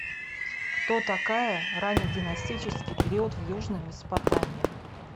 кто такая раннединастический период в южной месопотамии